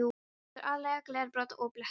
Þetta er aðallega glerbrot og blettir.